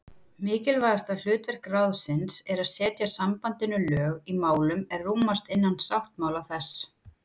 Mikilvægasta hlutverk ráðsins er að setja sambandinu lög í málum er rúmast innan sáttmála þess.